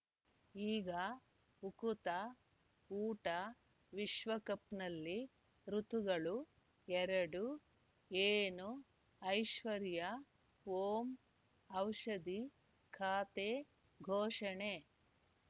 ಈಗ ಉಕುತ ಊಟ ವಿಶ್ವಕಪ್‌ನಲ್ಲಿ ಋತುಗಳು ಎರಡು ಏನು ಐಶ್ವರ್ಯಾ ಓಂ ಔಷಧಿ ಖಾತೆ ಘೋಷಣೆ